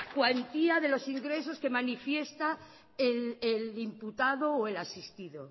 cuantía de los ingresos que manifiesta el imputado o el asistido